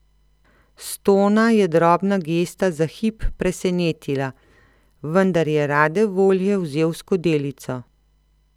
Stona je drobna gesta za hip presenetila, vendar je rade volje vzel skodelico.